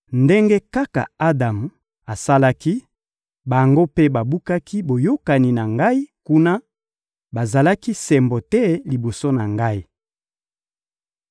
Ndenge kaka Adamu asalaki, bango mpe babukaki boyokani na Ngai; kuna, bazalaki sembo te liboso na Ngai.